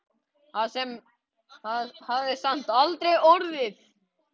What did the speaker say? Það hafði samt aldrei orðið.